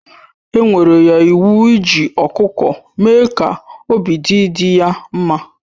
Enyere ya iwu iji ọkụkọ mee ka obi dị di ya mma